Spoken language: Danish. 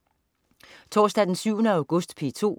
Torsdag den 7. august - P2: